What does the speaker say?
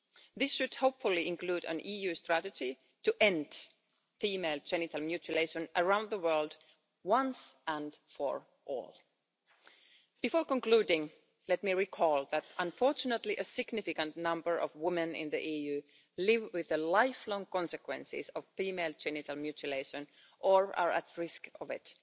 This should, hopefully, include an EU strategy to end female genital mutilation around the world once and for all. Before concluding, let me recall that, unfortunately, a significant number of women in the EU live with the lifelong consequences of female genital mutilation or are at risk of it.